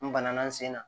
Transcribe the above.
N bana na n sen na